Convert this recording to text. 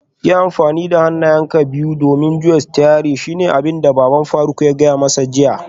Yi amfani da hannayenka biyu don juya sitiyarinka shine abinda baban faruk ya gaya masa jiya